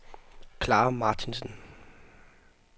Clara Martinsen